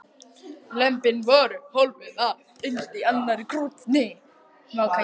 Lömbin voru hólfuð af innst í annarri krónni.